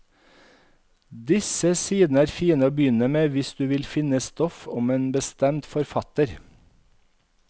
Disse sidene er fine å begynne med hvis du vil finne stoff om en bestemt forfatter.